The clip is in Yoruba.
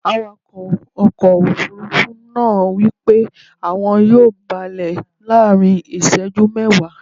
Awakọ̀ ọkọ̀ Òfurufú náà wípé àwọn yóò balẹ̀ láàrín iseju mẹ́ẹ̀wá.